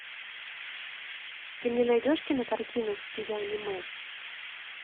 ты мне найдешь кинокартину в стиле аниме